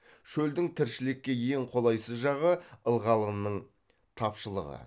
шөлдің тіршілікке ең қолайсыз жағы ылғалының тапшылығы